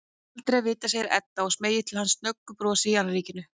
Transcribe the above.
Aldrei að vita, segir Edda og smeygir til hans snöggu brosi í annríkinu.